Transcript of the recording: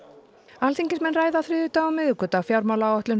alþingismenn ræða á þriðjudag og miðvikudag fjármálaáætlun